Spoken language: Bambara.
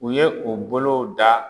U ye o bolo da